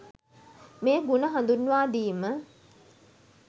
මේ ගුණ හඳුන්වාදීම